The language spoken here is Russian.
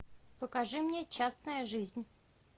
покажи мне частная жизнь